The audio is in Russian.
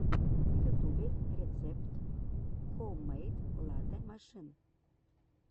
в ютюбе рецепт хоуммэйд латэ машин